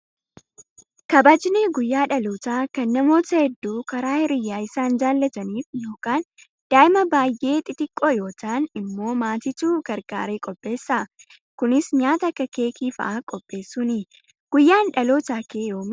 Kabajni guyyaa dhalootaa kan namoota hedduu karaa hiriyaa isaan jaallataniif yookaan daa'ima baay'ee xixiqqoo yoo ta'an immoo maatiitu gargaaree qopheessa. Kunis nyaata Akka keekii fa'aa qopheessuuni. Guyyaan dhalootaa Kee yoomi?